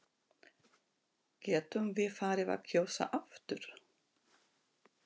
Getum við farið að kjósa aftur?